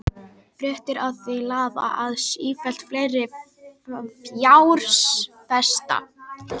Fréttir af því laða að sífellt fleiri fjárfesta.